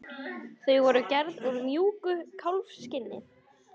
Þau voru gerð úr mjúku kálfskinni.